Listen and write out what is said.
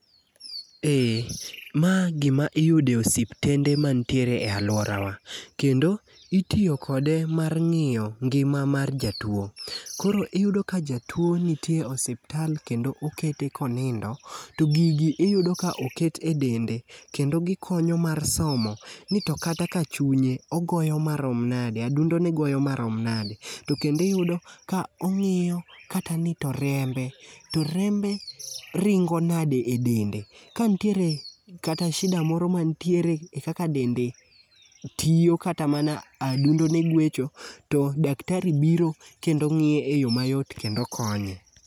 Ee ma gima iyudo e osiptende mantiere e alworawa. Kendo itiyo kode mar ng'iyo ngima mar jatuwo. Koro iyudo ka jatuwo nitiere e osiptal kendo okete konindo to gigi iyudo ka oket e dende kendo gikonyo mar somo ni to kata ka chunye, ogoyo marom nade, adundone goyo marom nade, to kendo iyudo ka ong'iyo kata gi to rembe, to rembe ringo nade e dende. Ka ntiere kata shida moro mantiere e kaka dende tiyo kata mana adundone gwecho, to daktari biro, kendo ng'iye e yo mayot kendo konye.